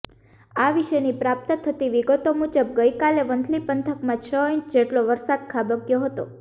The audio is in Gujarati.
આ વિશેની પ્રાપ્ત થતી વિગતો મુજબ ગઈકાલે વંથલી પંથકમાં છ ઈંચ જેટલો વરસાદ ખાબક્યો હતો